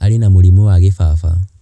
Arĩ na mũrimũ wa gĩbaba.